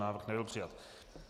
Návrh nebyl přijat.